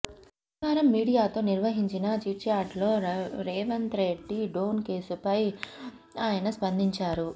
శనివారం మీడియాతో నిర్వహించిన చిట్చాట్లో రేవంత్రెడ్డి డ్రోన్ కేసుపై ఆయన స్పందించారు